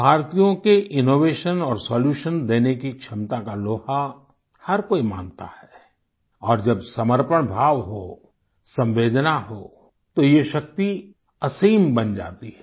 भारतीयों के इनोवेशन और सोल्यूशन देने की क्षमता का लोहा हर कोई मानता है और जब समर्पण भाव हो संवेदना हो तो ये शक्ति असीम बन जाती है